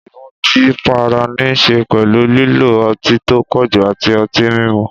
Ìmutípara ní í ṣe pẹ̀lú lílo ọtí tó pọ̀jù àti ọtí mímu.